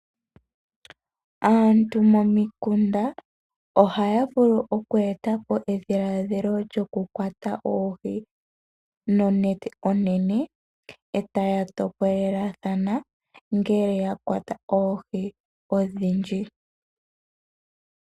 Aantu momikunda ohaya vulu oku e ta po edhiladhilo lyoku kwata oohi nonete onene, e taya topolelathana ngele ya kwata oohi odhindji.